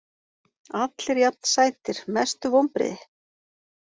Allir jafn sætir Mestu vonbrigði?